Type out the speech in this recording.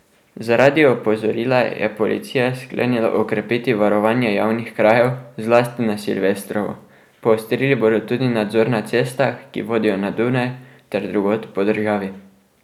Zaradi opozorila je policija sklenila okrepiti varovanje javnih krajev, zlasti na silvestrovo, poostrili bodo tudi nadzor na cestah, ki vodjo na Dunaj, ter drugod po državi.